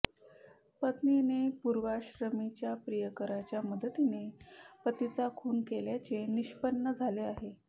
पत्नीने पुर्वाश्रमीच्या प्रियकराच्या मदतीने पतीचा खून केल्याचे निष्पन्न झाले आहे